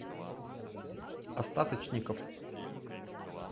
остаточников